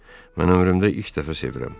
Mən ömrümdə ilk dəfə sevirəm.